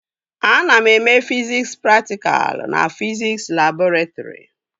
Ana eme fiziks praktikalụ na fiziks labọretrị